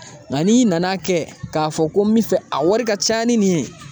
Nka n'i nana kɛ k'a fɔ ko n bɛ fɛ a wari ka ca ni nin ye